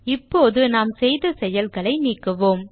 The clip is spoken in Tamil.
இப்போது நாம் செய்த செயல்களை நீக்குவோம்